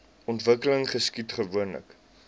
ontwikkeling geskied gewoonlik